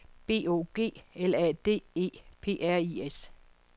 B O G L A D E P R I S